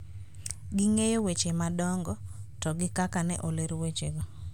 Ging'eyo weche madongo, to gi kaka ne oler wechego,